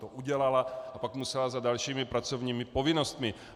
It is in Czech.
To udělala a pak musela za dalšími pracovními povinnostmi.